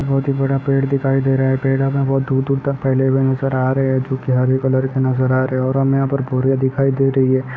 बोहत ही बड़ा पेड़ दिखाई दे रहा है | पड़े हमें दूर-दूर तक फैले हुए नजर आ रहे हैं जो कि हरे कलर के नजर आ रहे है और हमें यहाँ बोरिया दिखाई दे रही है।